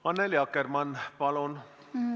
Annely Akkermann, palun!